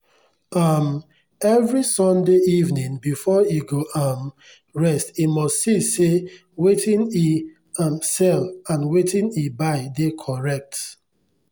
um every sunday evening before e go um rest e must see say wetin e um sell and wetin e buy dey correct.